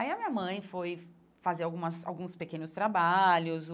Aí a minha mãe foi fazer algumas alguns pequenos trabalhos.